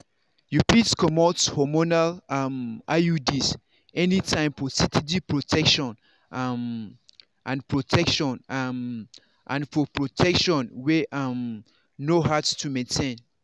you fit comot hormonal um iuds anytime for steady protection um and protection um and for protection wey um no hard to maintain.